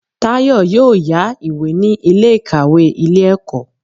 Táyọ̀ yóò yá ìwé ní Ilé ìkàwé Ilé ẹ̀kọ́